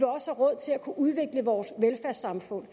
udvikle vores velfærdssamfund